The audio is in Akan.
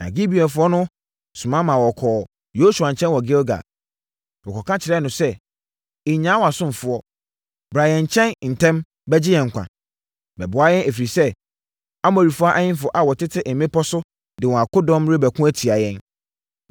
Na Gibeonfoɔ no soma kɔɔ Yosua nkyɛn wɔ Gilgal. Wɔkɔka kyerɛɛ no sɛ, “Nnyaa wʼasomfoɔ. Bra yɛn nkyɛn ntɛm bɛgye yɛn nkwa! Bɛboa yɛn, ɛfiri sɛ, Amorifoɔ ahemfo a wɔte mmepɔ so de wɔn akodɔm rebɛko atia yɛn.”